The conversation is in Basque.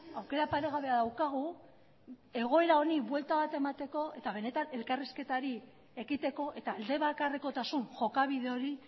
aukera paregabea daukagu egoera honi buelta bat emateko eta benetan elkarrizketari ekiteko eta alde bakarrekotasun jokabide hori